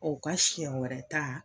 u ka siɲɛ wɛrɛ ta